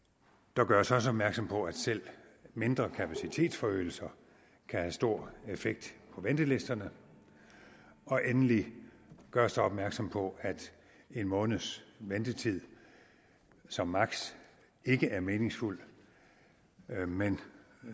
der gøres også opmærksom på at selv mindre kapacitetsforøgelser kan have stor effekt på ventelisterne og endelig gøres der opmærksom på at en måneds ventetid som maksimum ikke er meningsfuld men